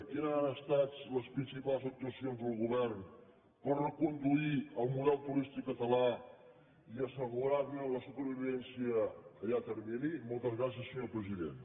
quines han estat les principals actuacions del govern per reconduir el model turístic català i assegurar ne la supervivència a llarg termini moltes gràcies senyor president